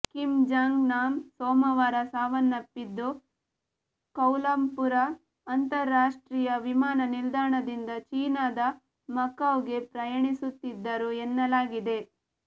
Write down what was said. Kim Jong Nam ಸೋಮವಾರ ಸಾವನ್ನಪ್ಪಿದ್ದು Kuala Lumpur ಅಂತರಾಷ್ಟ್ರೀಯ ವಿಮಾನ ನಿಲ್ದಾಣದಿಂದ ಚೀನಾದ ಮಕಾವ್ ಗೆ ಪ್ರಯಾಣಿಸುತ್ತಿದ್ದರು ಎನ್ನಲಾಗಿದೆ